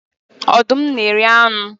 Ọdụm na eri anụ